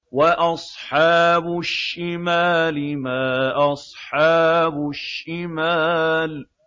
وَأَصْحَابُ الشِّمَالِ مَا أَصْحَابُ الشِّمَالِ